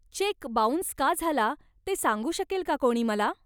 Check bounce का झाला ते सांगू शकेल का कोणी मला?